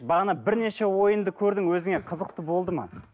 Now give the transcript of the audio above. бағана бірнеше ойынды көрдің өзіңе қызықты болды ма